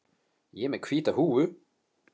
Ég er með hvíta húfu.